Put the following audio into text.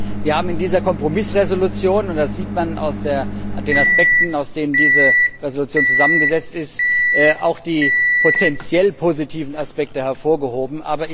Wir haben in dieser Kompromissresolution und das sieht man an den Aspekten, aus denen sich diese Resolution zusammengesetzt auch die potentiell positiven Aspekte hervorgehoben.